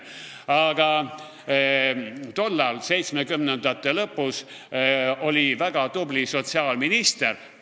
Aga tol ajal, 1970-ndate lõpus oli väga tubli sotsiaalminister ...